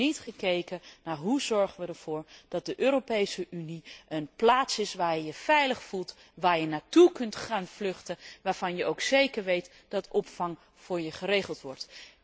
Er wordt niet gekeken naar hoe we ervoor kunnen zorgen dat de Europese Unie een plaats is waar je je veilig voelt, waar je naartoe kunt vluchten, waarvan je ook zeker weet dat opvang voor je geregeld wordt.